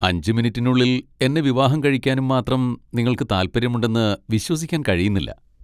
അഞ്ച് മിനിറ്റിനുള്ളിൽ എന്നെ വിവാഹം കഴിക്കാനും മാത്രം നിങ്ങൾക്ക് താൽപ്പര്യമുണ്ടെന്ന് വിശ്വസിക്കാൻ കഴിയുന്നില്ല.